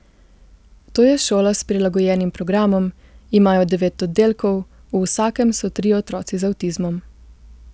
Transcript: To je šola s prilagojenim programom, imajo devet oddelkov, v vsakem so trije otroci z avtizmom.